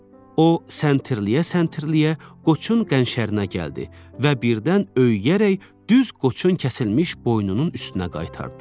O, səntirləyə-səntirləyə qoçun qənşərinə gəldi və birdən öyüyərək düz qoçun kəsilmiş boynunun üstünə qaytardı.